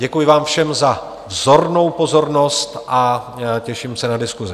Děkuji vám všem za vzornou pozornost a těším se na diskusi.